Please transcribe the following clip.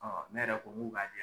ne yɛrɛ ko ŋ'u k'a di yan